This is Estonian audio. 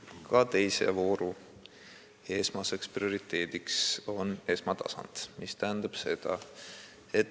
Ka teise vooru esmane prioriteet on esmatasand.